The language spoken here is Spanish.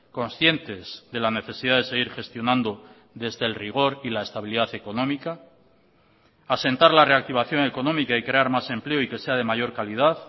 conscientes de la necesidad de seguir gestionando desde el rigor y la estabilidad económica asentar la reactivación económica y crear más empleo y que sea de mayor calidad